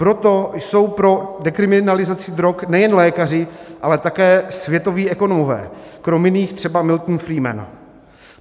Proto jsou pro dekriminalizaci drog nejen lékaři, ale také světoví ekonomové, krom jiných třeba Milton Friedman.